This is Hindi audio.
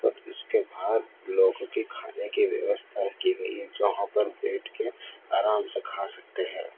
अब इसके बाद लोहे के खादे की व्यवस्था की गई है जहां पर बैठके आराम से खा सकते है।